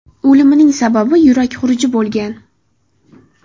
O‘limining sababi yurak xuruji bo‘lgan.